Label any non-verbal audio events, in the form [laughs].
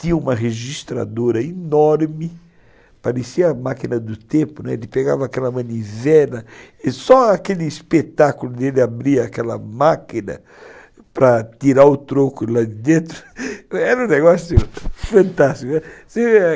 tinha uma registradora enorme, parecia a máquina do tempo, né, ele pegava aquela manivela, só aquele espetáculo dele, ele abria aquela máquina para tirar o troco lá de dentro, [laughs] era um negócio fantástico, né.